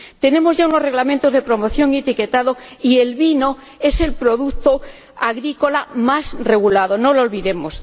Tenemos ya unos reglamentos de promoción y etiquetado, y el vino es el producto agrícola más regulado, no lo olvidemos.